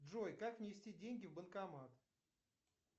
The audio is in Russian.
джой как внести деньги в банкомат